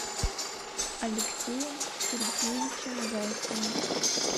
алексеем сергеевичем зайцевым